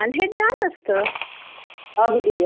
हे खरंच खूप त्रासदायक होत माहिती आहे का?